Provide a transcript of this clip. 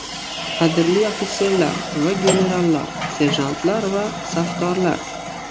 Qadrli ofitser va generallar, serjantlar va safdorlar!